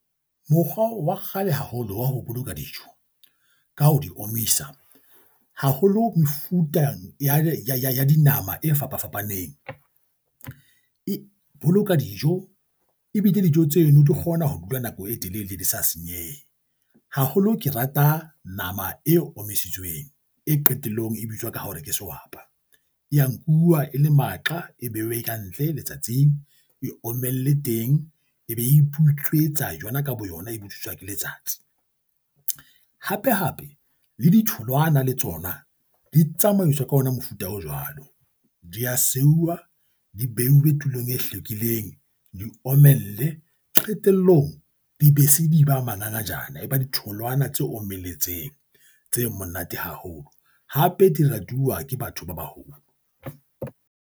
Mokgwa wa kgale haholo wa ho boloka dijo, ka ho di omisa haholo mefuta ya dinama e fapafapaneng e boloka dijo ebile dijo tseno di kgona ho dula nako e telele, di sa senyehe. Haholo ke rata nama e omisitsweng, e qetellong e bitswa ka hore ke sehwapa e ya nkuwa e le maqa e bewe ka ntle letsatsing, e omelle teng, e be iputswetsa yona ka bo yona e botswiswa ke letsatsi. Hape hape le ditholwana le tsona di tsamaiswa ka ona mofuta o jwalo di a seuwa, di beuwe tulong e hlwekileng, di omelle qetellong, di be se di ba mangangajane, e ba ditholwana tse omeletseng, tse monate haholo hape di ratuwa ke batho ba baholo.